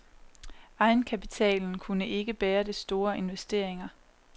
Egenkapitalen kunne ikke bære de store investeringer.